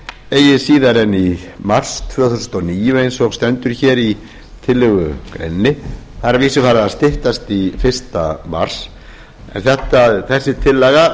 eigi síðar en fyrsta mars tvö þúsund og níu eins og stendur hér í tillögu greininni það er að vísu farið að styttast í fyrsta mars en þessi tillaga